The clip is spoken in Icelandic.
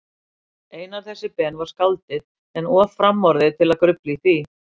Einar þessi Ben væri skáldið, en of framorðið til að grufla í því.